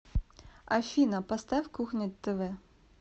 афина поставь кухня тв